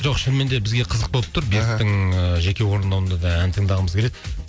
жоқ шынымен де бізге қызық болып тұр беріктің і жеке орындауында да ән тыңдағымыз келеді